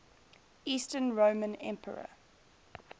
eastern roman emperor